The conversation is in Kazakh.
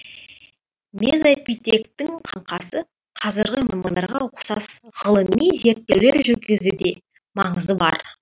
мезопитектің қаңқасы қазіргі маймылдарға ұқсас ғылыми зерттеулер жүргізуде маңызы бар